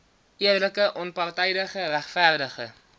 eerlike onpartydige regverdige